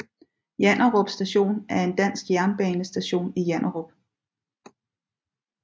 Janderup Station er en dansk jernbanestation i Janderup